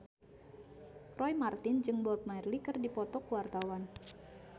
Roy Marten jeung Bob Marley keur dipoto ku wartawan